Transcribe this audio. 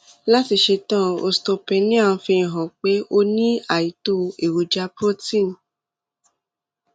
láti ṣe tán osteopenia ń fi hàn pé o ní àìtó èròjà protein